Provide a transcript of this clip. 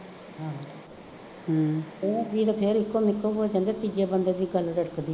ਆਹੋ ਹੂੰ ਦੋਵੇਂ ਜੀਅ ਤਾਂ ਫੇਰ ਇੱਕੋ ਮਿੱਕ ਹੋ ਜਾਂਦੇ ਆ ਤੀਜੇ ਬੰਦੇ ਦੀ ਗੱਲ